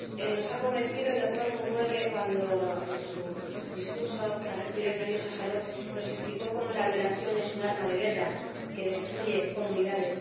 Nos ha convencido el doctor Mukwege cuando, en su discurso, al recibir el Premio Sájarov, nos explicó cómo la violación es un arma de guerra que destruye comunidades.